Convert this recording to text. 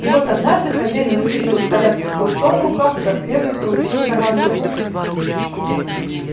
и вот однажды хозяин выскочил из коляски с хлыстом в руках и как следует проучил сорванцов